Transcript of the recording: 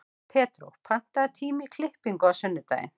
Pedró, pantaðu tíma í klippingu á sunnudaginn.